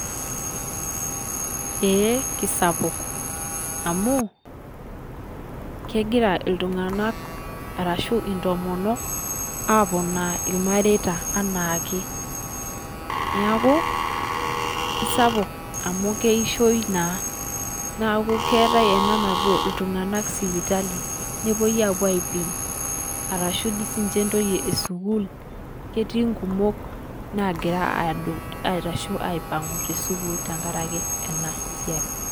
Eee kisapuk amuu, kegira iltung'anak arashu intomonok aponaa ilmareita anaake, niaku kisapuk amu keishoii naa, niaku keetae ena napuoi iltung'anak sipitali, nepoi aipim, arashu si di ninye intoyie eesukuul, ketii nkumok nagira adut, aitosho aipang'u te sukuuli tekaraki ena siaai.